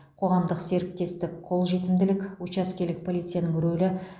қоғамдық серіктестік қолжетімділік учаскелік полицияның рөлі